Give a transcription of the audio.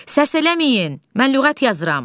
Səs eləməyin, mən lüğət yazıram.